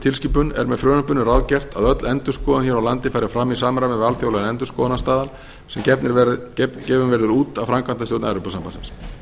með frumvarpinu ráðgert að öll endurskoðun hér á landi fari fram í samræmi við alþjóðlega endurskoðunarstaðla sem gefnir verða út af framkvæmdastjórn evrópusambandsins